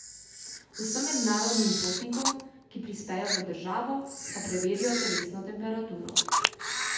Vsem mednarodnim potnikom, ki prispejo v državo, pa preverijo telesno temperaturo.